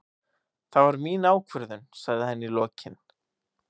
Það var mín ákvörðun, sagði hann í lokin.